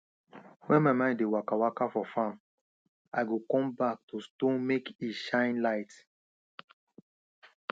when my mind dey waka waka for farm i go come back to stone make e shine light